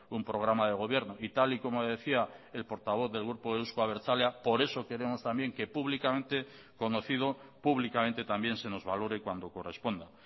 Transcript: un programa de gobierno y tal y como decía el portavoz del grupo euzko abertzalea por eso queremos también que públicamente conocido públicamente también se nos valore cuando corresponda